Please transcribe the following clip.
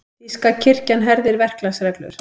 Þýska kirkjan herðir verklagsreglur